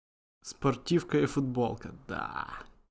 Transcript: спортивка и футболка